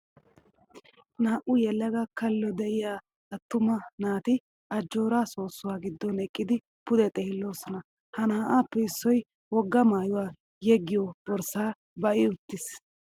Naa'u yelaga kallo diyaaattuma naati ajjoora soossuwaa giddon eqqidi pude xeelloosona. Ha naa'aappe issoyi wogga maayyuwaa yeggiyoo borssaa ba'i uttis.